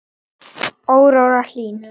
Áróra Hlín.